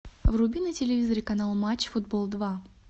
вруби на телевизоре канал матч футбол два